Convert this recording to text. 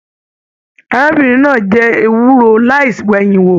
Arábìnrin náà jẹ ewúro láì wẹ̀yin wò.